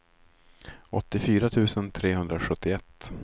åttiofyra tusen trehundrasjuttioett